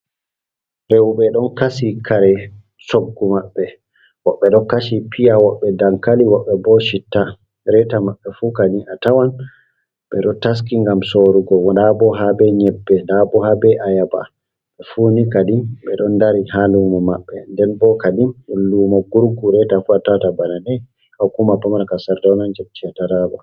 Rewɓe ɗon kasi kare coggu maɓɓe, woɓɓe ɗo kasi piya, woɓɓe dankali, woɓɓe bo citta, reeta maɓɓe fu kadi a tawan, ɓe ɗo taski ngam soorugo. Ndaa bo haa be nyebbe, ndaa bo haa be ayaaba, ɓe fu ni kadi, ɓe ɗon dari haa luumo maɓɓe. Nden bo kadin luumo gurgu, reeta fu a tawata bana ni, haa hukuma pamara, ka Sardawna nder jiha Taraaba.